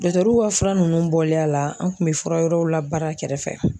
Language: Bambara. fura ninnu bɔlen a la an kun be fura wɛrɛw labaara kɛrɛfɛ